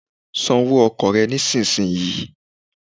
San owó ọkọ̀ rẹ nísinsìnyí